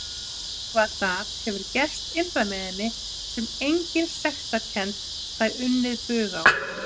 Eitthvað það hefur gerst innra með henni sem engin sektarkennd fær unnið bug á.